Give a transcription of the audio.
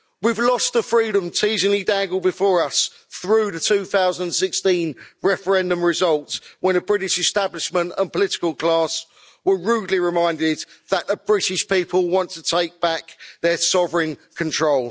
We've lost the freedom teasingly dangled before us through the 2016 referendum results, when a British establishment and political class were rudely reminded that the British people want to take back their sovereign control.